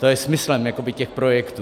To je smyslem těch projektů.